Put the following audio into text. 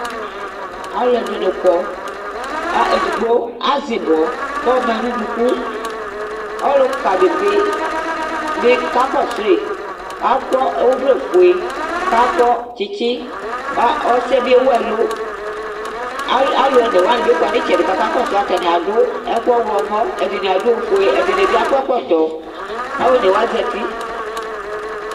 aloɛdini kɔ kò edigbo azɛ ibɔ k'ɔma no unuku ɔluka di bi kakɔsue akɔ ɔvlɛfue k'akɔ tsitsi ko ɔsiɛ bi ewu ɛlu alo one wani bi kɔ n'itsɛdi k'aka kɔsu atani ado ɛkò ɔwlɔmɔ ɛdini ado ofue ɛdini bi akɔ ɛkɔtɔ alo one wa zati